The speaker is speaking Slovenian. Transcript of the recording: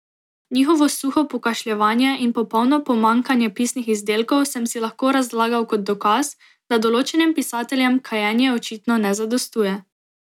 Njihovo suho pokašljevanje in popolno pomanjkanje pisnih izdelkov sem si lahko razlagal kot dokaz, da določenim pisateljem kajenje očitno ne zadostuje.